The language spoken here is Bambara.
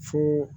Fo